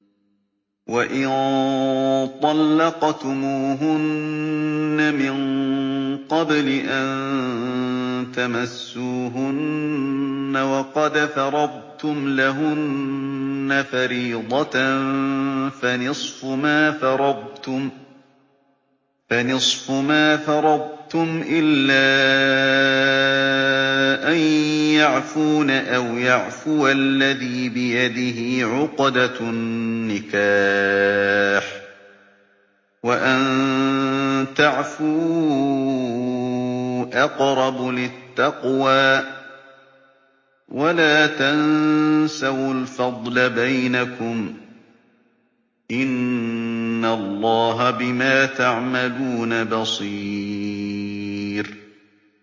وَإِن طَلَّقْتُمُوهُنَّ مِن قَبْلِ أَن تَمَسُّوهُنَّ وَقَدْ فَرَضْتُمْ لَهُنَّ فَرِيضَةً فَنِصْفُ مَا فَرَضْتُمْ إِلَّا أَن يَعْفُونَ أَوْ يَعْفُوَ الَّذِي بِيَدِهِ عُقْدَةُ النِّكَاحِ ۚ وَأَن تَعْفُوا أَقْرَبُ لِلتَّقْوَىٰ ۚ وَلَا تَنسَوُا الْفَضْلَ بَيْنَكُمْ ۚ إِنَّ اللَّهَ بِمَا تَعْمَلُونَ بَصِيرٌ